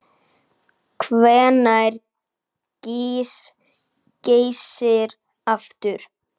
Hvenær gýs Geysir aftur?